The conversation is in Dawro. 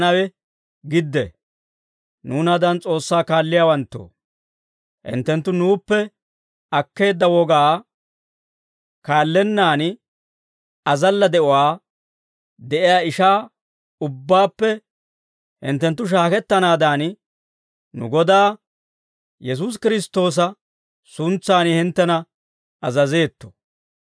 Nuunaadan S'oossaa kaalliyaawanttoo, hinttenttu nuuppe akkeedda wogaa kaallennaan azalla de'uwaa de'iyaa ishaa ubbaappe hinttenttu shaakettanaadan, nu Godaa Yesuusi Kiristtoosa suntsan hinttena azazeetto.